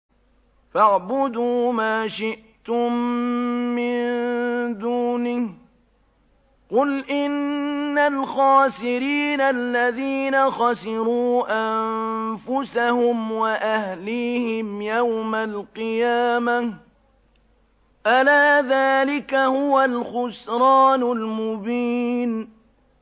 فَاعْبُدُوا مَا شِئْتُم مِّن دُونِهِ ۗ قُلْ إِنَّ الْخَاسِرِينَ الَّذِينَ خَسِرُوا أَنفُسَهُمْ وَأَهْلِيهِمْ يَوْمَ الْقِيَامَةِ ۗ أَلَا ذَٰلِكَ هُوَ الْخُسْرَانُ الْمُبِينُ